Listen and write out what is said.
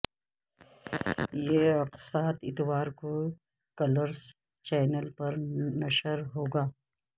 یہ اقساط اتوار کو کلرس چینل پر نشر ہوگا